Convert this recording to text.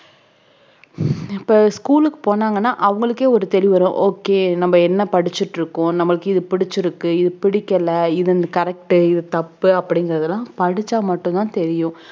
இப்ப school க்கு போனாங்கன்னா அவங்களுக்கே ஒரு தெளிவு வரும் okay நம்ம என்ன படிச்சிட்டிருக்கோம் நமக்கு இது புடிச்சிருக்கு இது பிடிக்கல இது correct இது தப்பு அப்படிங்கறதெல்லாம் படிச்சா மட்டும் தான் தெரியும்